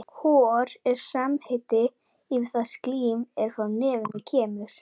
Hor er samheiti yfir það slím er frá nefinu kemur.